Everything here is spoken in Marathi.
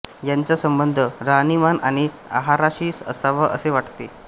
याचा संबंध राहाणीमान आणि आहाराशी असावा असे वाटते